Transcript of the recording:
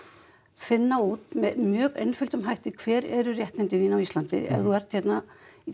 finna út með mjög einföldum hætti hver eru réttindi þín á Íslandi ef þú ert hérna